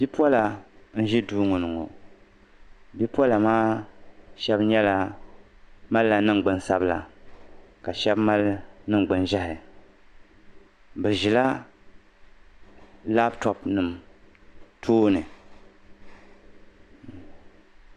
Bipola n ʒi duu ŋo ni ŋo bipola maa shab malila ningbuni sabila ka shab mali ningbuni ʒiɛhi bi ʒila labtoopu nim tooni